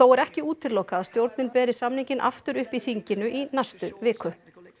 er ekki útilokað að stjórnin beri samninginn aftur upp í þinginu í næstu viku